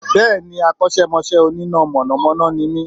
Bẹ́ẹ̀ni Akọ́sẹ́mọsẹ́ Onímọ̀ iná ni mí